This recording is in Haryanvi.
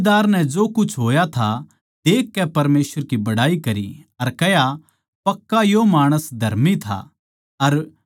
सूबेदार नै जो कुछ होया था देखकै परमेसवर की बड़ाई करी अर कह्या पक्का यो माणस धर्मी था